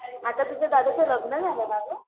आता तुझ्या दादाच लग्न झालं ना ग